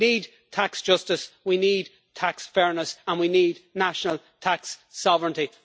We need tax justice, we need tax fairness and we need national tax sovereignty.